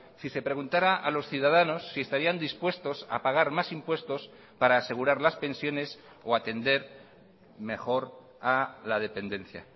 si se preguntara a los ciudadanos si estarían dispuestos a pagar más impuestos para asegurar las pensiones o a atender mejor a la dependencia